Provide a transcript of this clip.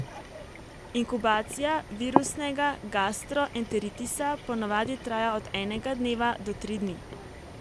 Inkubacija virusnega gastroenteritisa po navadi traja od enega dneva do tri dni.